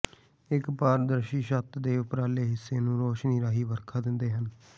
ਇੱਕ ਪਾਰਦਰਸ਼ੀ ਛੱਤ ਦੇ ਉੱਪਰਲੇ ਹਿੱਸੇ ਨੂੰ ਰੌਸ਼ਨੀ ਰਾਹੀਂ ਵਰਖਾ ਦਿੰਦੇ ਹਨ